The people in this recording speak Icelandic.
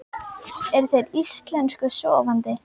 Eru þeir Íslensku sofandi?